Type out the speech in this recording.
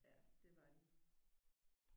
Ja det var de